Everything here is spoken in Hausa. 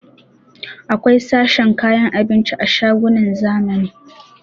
Akwai sashen kayan abinci a shagunan zamani